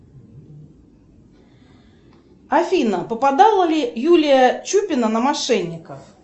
афина попадала ли юлия чупина на мошенников